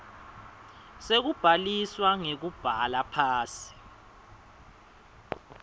sekubhaliswa ngekubhala phansi